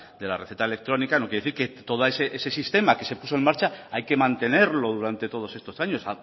de la receta electrónica no quiere decir que todo ese sistema que se puso en marcha hay que mantenerlo durante todos estos años